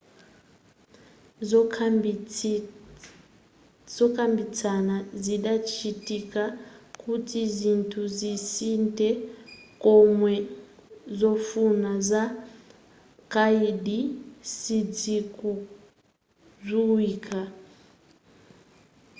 zokambitsana zidachitika kuti zinthu zisinthe koma zofuna za kaidi sidzikudziwika